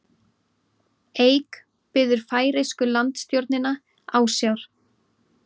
Eik biður færeysku landstjórnina ásjár